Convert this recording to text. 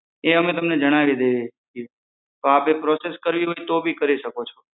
એ અમે તમને જણાવી દઈએ છે તો આપે process કરવી તો બી કરી શકો છો